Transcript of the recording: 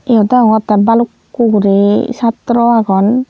eyot deongottey balukko guri sattro agon.